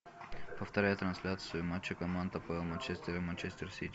повторяй трансляцию матча команд апл манчестер и манчестер сити